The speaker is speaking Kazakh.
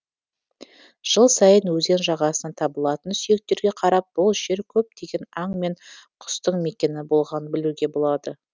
жыл сайын өзен жағасынан табылатын сүйектерге қарап бұл жер көптеген аң мен құстың мекені болғанын білуге болады